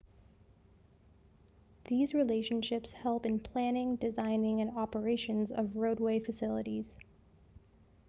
these relationships help in planning design and operations of roadway facilities